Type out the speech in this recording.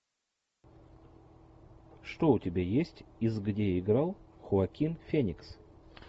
что у тебя есть из где играл хоакин феникс